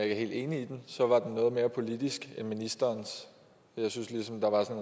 er helt enig i den var noget mere politisk end ministerens jeg synes der var en